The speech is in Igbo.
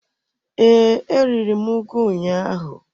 Ee, e riri m ugu ụnyaahụ.